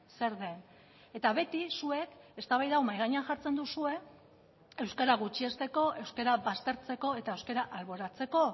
zer den eta beti zuek eztabaida hau mahai gainean jartzen duzue euskara gutxiesteko euskara baztertzeko eta euskara alboratzeko